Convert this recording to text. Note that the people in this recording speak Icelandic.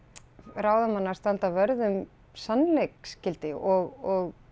ráðamanna að standa vörð um sannleiksgildi og